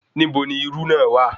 Nibo ni irú náà wà